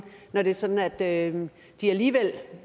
når det er sådan at de alligevel